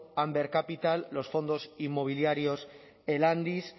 amber capital los fondos inmobiliarios elandis